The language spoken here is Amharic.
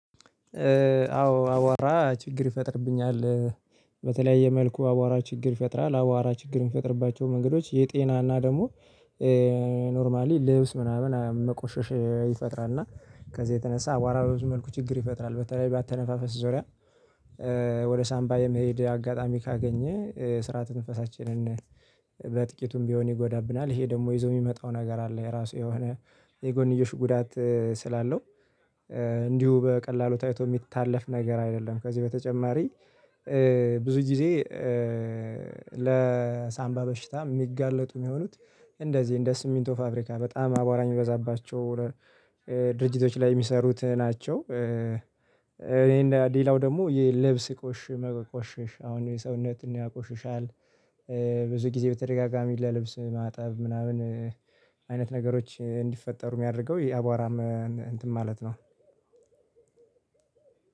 አዎ አዋራ ችግር ይፈጠርብኝ አለ በተለየ መልኩ አዋራ ችግር ይፈጠራል አዋራ ችግር የሚፈጠርባቸው መንገዶች የጤና እና ደግሞ ኖርማሊ ለብስ ምናምን መቆሸሽ ይፈጠራልና ከዚህ የተነሳ አዋራ ብዙ መልኩ ችግር ይፈጠራል በተለይ ባትተነፋፈ ዞሪያ ወደ ሳንባ የመሄድ አጋጣሚ ካገኘ ስራ ትንፈሳችንን በጥቂቱም ቢሆን ይጎዳብኝ አለ ይህ ደግሞ ይዞ ሚመጣው ነገር አለ የራሱ የሆነ የጎንዮሽ ጉዳት ስላለው እንዲሁ በቀላሉ ታይቶ ሚታለፍ ነገር አይደለም በዚህ በተጨማሪ ብዙ ጊዜ ለሳንባ በሽታ ሚጋለጡ ሚሆኑት እንደዚህ እንደ ስሚንቶ ፋብሪካ በጣም አዋራ ሚበዛባቸው ድርጅቶች ላይ የሚሰሩት ናቸው ይህን ሌላው ደግሞ ልብስ ይቆሽ መቆሸሽ አሁን ሰውነት ያቆሸሻል። ብዙ ጊዜ በተደጋጋሚ ለልብስ ማጣብ ምናምን አይነት ነገሮች እንዲፈጠሩ ሚያደርገው የአዋራ እንትን ማለት ነው።